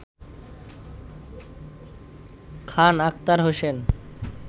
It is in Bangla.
খান আখতার হোসেন